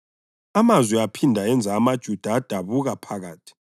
Amazwi aphinda enza amaJuda adabuka phakathi.